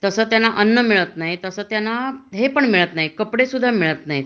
तस त्यांना अन्न मिळत नाही त्यान हे पण कपडे सुद्धा मिळत नाही